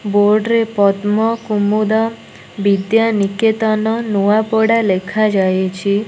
Board ରେ ପଦ୍ମ କୁମୁଦ ବିଦ୍ୟା ନିକେତନ ନୂଆପଡ଼ା ଲେଖାଯାଇଛି।